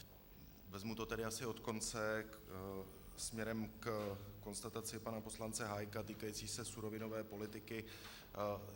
Vezmu to tedy asi od konce směrem ke konstataci pana poslance Hájka týkající se surovinové politiky.